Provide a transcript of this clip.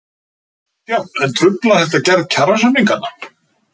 Kristján: En truflar þetta gerð kjarasamninganna?